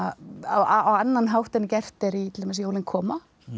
á annan hátt en gert er í til dæmis jólin koma